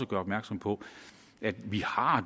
gøre opmærksom på at vi har